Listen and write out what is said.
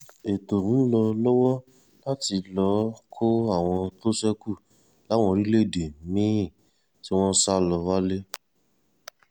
ètò ń lọ lọ́wọ́ láti lọ́ọ́ kọ́ àwọn tó ṣekú láwọn orílẹ̀‐èdè mí-ín tí wọ́n sá lọ wálé